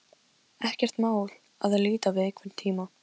Ekkert mál að líta við einhvern tíma.